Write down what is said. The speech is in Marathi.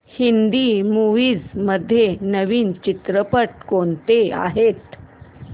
हिंदी मूवीझ मध्ये नवीन चित्रपट कोणते आहेत